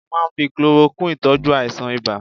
A máà ń fi chloroquine tọ́jú àìsàn ibà